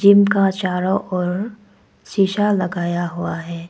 Gym का चारों ओर शीशा लगाया हुआ है।